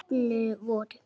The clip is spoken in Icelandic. Þeir heppnu voru